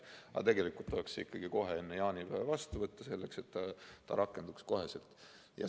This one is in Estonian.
Aga tegelikult tuleks see ikkagi enne jaanipäeva vastu võtta, et see rakenduks kohe.